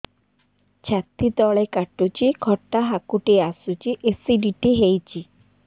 ଛାତି ତଳେ କାଟୁଚି ଖଟା ହାକୁଟି ଆସୁଚି ଏସିଡିଟି ହେଇଚି